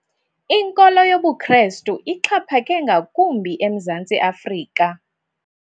Inkolo yobuKrestu ixhaphake ngakumbi eMzantsi Afrika.